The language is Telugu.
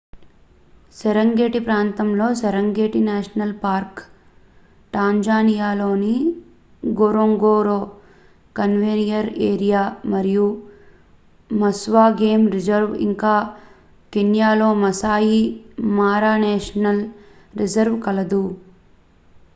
సెరెంగెటి ప్రాంతంలో సెరెంగెటి నేషనల్ పార్క్ టాంజానియాలోని న్గొరోంగోరో కన్జర్వేషన్ ఏరియా మరియు మస్వా గేమ్ రిజర్వ్ ఇంకా కెన్యాలోని మాసాయి మారా నేషనల్ రిజర్వ్ కలదు